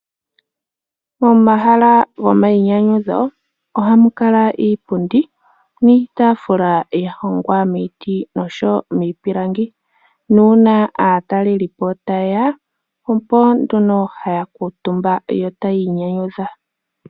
Momahala gomainyanyudho ohamu kala iipundi niitaafula, ya hongwa miiti oshowo miipilangi, nuuna aataleli po taye ya oko nduno haya kuutumba, yo tayi inyanyudha.